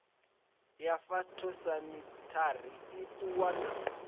ya phytosamitary i ṱuwa na